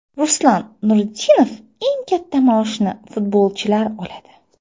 Ruslan Nuriddinov: Eng katta maoshni futbolchilar oladi.